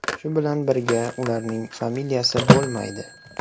Shu bilan birga ularning familiyasi bo‘lmaydi.